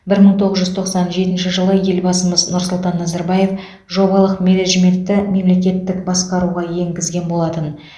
бір мың тоғыз жүз тоқсан жетінші жылы елбасымыз нұрсұлтан назарбаев жобалық менеджментті мемлекеттік басқаруға енгізген болатын